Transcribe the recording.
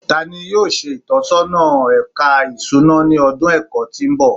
Tani yoo ṣe itọsọna Ẹka Isuna ni ọdun ẹkọ ti n bọ?